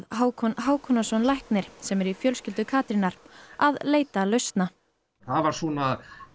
Hákon Hákonarson læknir sem er í fjölskyldu Katrínar að leita lausna það var